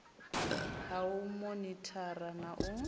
ha u monithara na u